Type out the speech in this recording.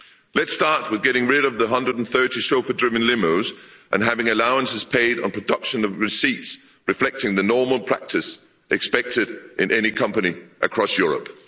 Let's start with getting rid of the 130 chauffeur driven limos and having allowances paid on production of receipts, reflecting the normal practice expected in any company across Europe.